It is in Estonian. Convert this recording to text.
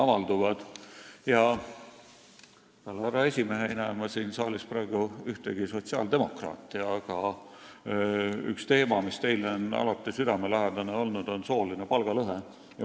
Peale härra esimehe ei näe ma siin saalis mitte ühtegi sotsiaaldemokraati, aga üks teema, mis teile on alati südamelähedane olnud, on sooline palgalõhe.